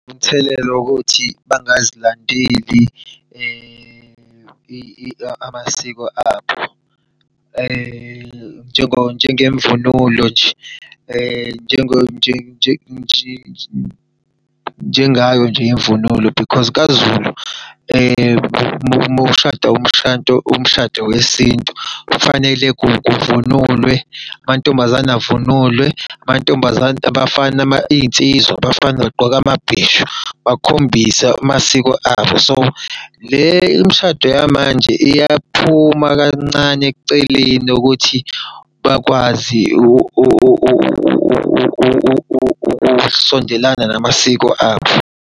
Umthelela wokuthi bangazilandeli amasiko abo. Njengemvunulo nje, njengayo nje imvunulo because kaZulu uma ushada umshado, umshado wesintu kufanele kuvunulwe amantombazane avunulwe. Amantombazane abafana iy'nsizwa, abafana bagqoke amabheshu, bakhombise amasiko abo. So, le imishado yamanje iyaphuma kancane eceleni ukuthi bakwazi ukusondelana namasiko abo.